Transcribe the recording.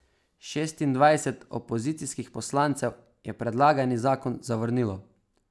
Šestindvajset opozicijskih poslancev je predlagani zakon zavrnilo.